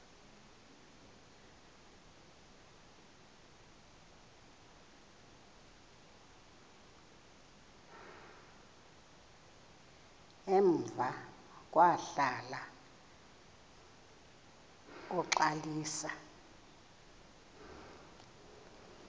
emva kwahlala uxalisa